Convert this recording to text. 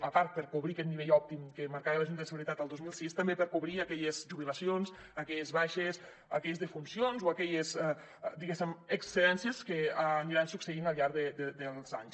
a part de per cobrir aquest nivell òptim que marcava la junta de seguretat el dos mil sis també per cobrir aquelles jubilacions aquelles baixes aquelles defuncions o aquelles diguéssim excedències que aniran succeint al llarg dels anys